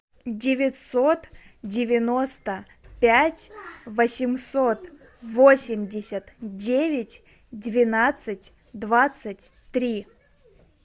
девятьсот девяносто пять восемьсот восемьдесят девять двенадцать двадцать три